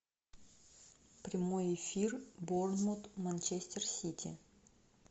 прямой эфир борнмут манчестер сити